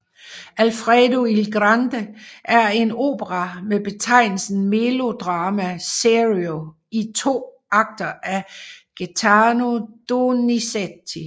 Alfredo il grande er en opera med betegnelsen melodramma serio i to akter af Gaetano Donizetti